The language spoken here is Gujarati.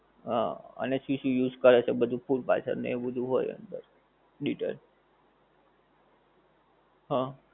હં અને શું શું use કરે છે એ બધુ ફૂડ પાર્સલ ને એવું બધુ હોય અંદર detail હં.